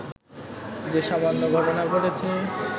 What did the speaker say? যে সামান্য ঘটনা ঘটেছে